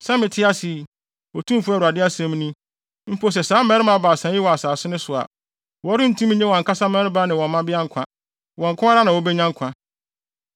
sɛ mete ase yi, Otumfo Awurade asɛm ni, mpo sɛ saa mmarima baasa yi wɔ asase no so a, wɔrentumi nnye wɔn ankasa mmabarima ne mmabea nkwa. Wɔn nko ara na wobenya nkwa.